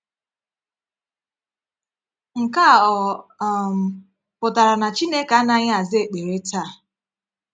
Nke a ọ um pụtara na Chineke anaghị aza ekpere taa?